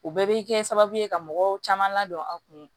O bɛɛ bɛ kɛ sababu ye ka mɔgɔw caman ladɔn a kun